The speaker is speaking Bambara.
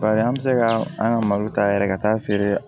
Bari an bɛ se ka an ka malo ta yɛrɛ ka taa feere